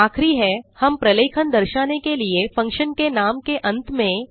आखिरी है हम प्रलेखन दर्शाने के लिए फंक्शन के नाम के अंत में160